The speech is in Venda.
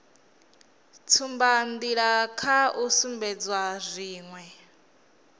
tsumbanḓila kha u sumbedza zwine